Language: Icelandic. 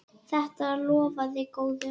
Þetta lofaði góðu!